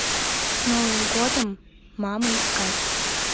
с новым годом мамы искать